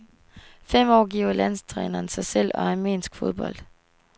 Fem år giver landstræneren sig selv og armensk fodbold.